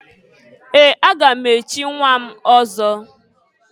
Ee! Aga m echi nnwa m ọzọ.